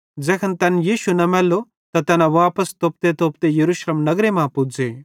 ज़ैखन तैन यीशु न मैल्लो त तैना वापस तोपतेतोपते यरूशलेम नगरे मां पुज़े